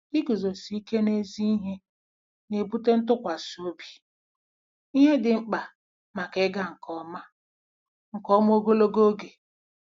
Iguzosi ike n'ezi ihe na-ebute ntụkwasị obi, ihe dị mkpa maka ịga nke ọma nke ọma ogologo oge.